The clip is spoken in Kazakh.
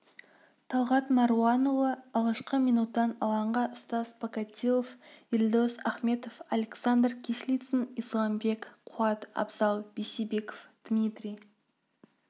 талғат маруанұлы алғашқы минуттан алаңға стас покатилов елдос ахметов александр кислицын исламбек қуат абзал бейсебеков дмитрий